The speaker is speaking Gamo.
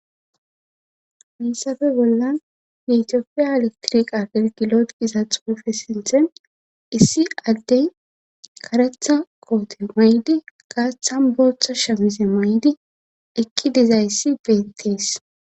miissafe bollan yetiofiya alektirik atelgi looiza xuufe sinthen issi addey karetha koote maydi gaaththan booththa shamize maydi ekki dizayssi beettees